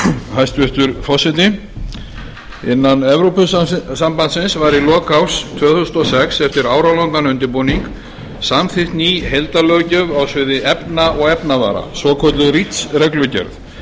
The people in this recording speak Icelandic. hæstvirtur forseti innan evrópusambandsins var í lok árs tvö þúsund og sex eftir áralangan undirbúning samþykkt ný heildarlöggjöf á sviði efna og efnavara svokölluð reach reglugerð